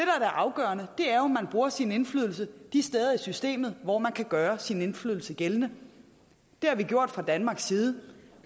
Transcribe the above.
afgørende er jo at man bruger sin indflydelse de steder i systemet hvor man kan gøre sin indflydelse gældende det har vi gjort fra danmarks side